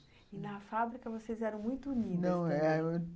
E, na fábrica, vocês eram muito unidas também? Não, é